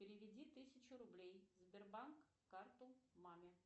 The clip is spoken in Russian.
переведи тысячу рублей сбербанк карту маме